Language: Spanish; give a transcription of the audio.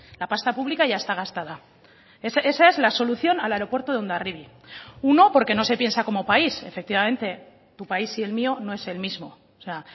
la pasta pública ya está gastada esa es la solución al aeropuerto de hondarribia uno porque no se piensa como país efectivamente tu país y el mío no es el mismo o sea